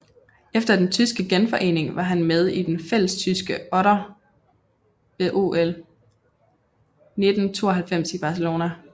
Efter den tyske genforening var han med i den fællestyske otter ved OL 1992 i Barcelona